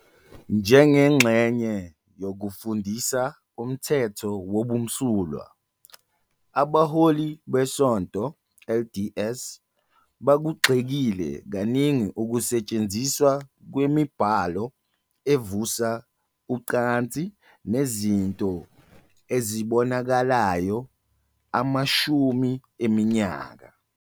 Njengengxenye yokufundisa umthetho wobumsulwa, abaholi beSonto LDS bakugxekile kaningi ukusetshenziswa kwemibhalo evusa ucansi nezinto ezibonakalayo amashumi eminyaka.